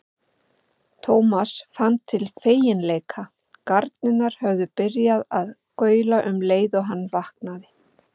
Thomas fann til feginleika, garnirnar höfðu byrjað að gaula um leið og hann vaknaði.